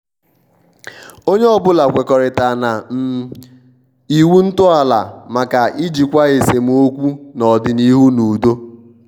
onye ọbụla kwekọritara na um iwu ntọala maka ijikwa esemokwu n'ọdịnihu n' udo.